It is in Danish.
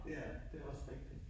Ja, det er også rigtigt